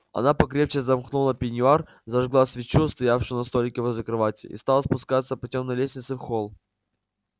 она покрепче замкнула пеньюар зажгла свечу стоявшую на столике возле кровати и стала спускаться по тёмной лестнице в холл